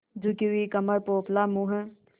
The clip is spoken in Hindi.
झुकी हुई कमर पोपला मुँह